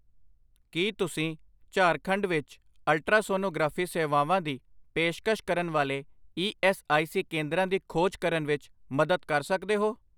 ਕੀ ਤੁਸੀਂ ਝਾਰਖੰਡ ਵਿੱਚ ਅਲਟਰਾਸੋਨੋਗ੍ਰਾਫੀ ਸੇਵਾਵਾਂ ਦੀ ਪੇਸ਼ਕਸ਼ ਕਰਨ ਵਾਲੇ ਈ ਐੱਸ ਆਈ ਸੀ ਕੇਂਦਰਾਂ ਦੀ ਖੋਜ ਕਰਨ ਵਿੱਚ ਮਦਦ ਕਰ ਸਕਦੇ ਹੋ